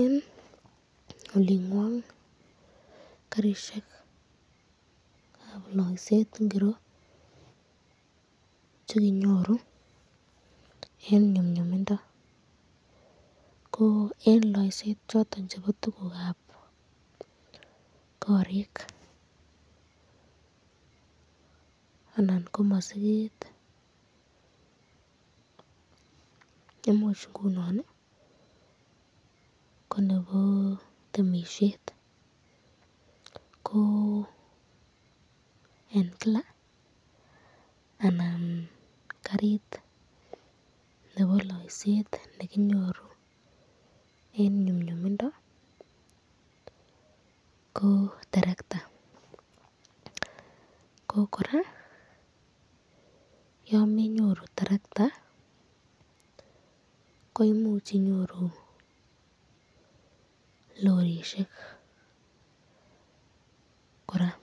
Eng olingwang, Karishekab playset ingiro chekinyoru eng nyumnyumindo, ko eng loyset choton chebo tukukab korik anan masiket imuch ko chebo temisyet ko eng Kila anan karit nebo playset nekinyoru eng nyumnyumindo ko terekta ko, koraa yan menyoru terekta ko imuch inyoru lorishek koraa,